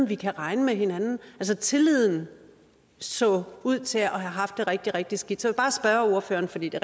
vi kunne regne med hinanden altså tilliden så ud til at have haft det rigtig rigtig skidt så bare spørge ordføreren fordi det